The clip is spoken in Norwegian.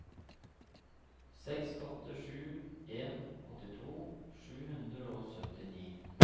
seks åtte sju en åttito sju hundre og syttini